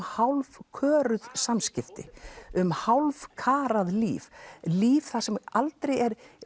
hálfköruð samskipti um hálfkarað líf líf þar sem er aldrei